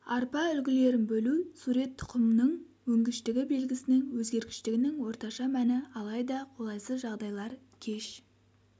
арпа үлгілерін бөлу сурет тұқымның өнгіштігі белгісінің өзгергіштігінің орташа мәні алайда қолайсыз жағдайлар кеш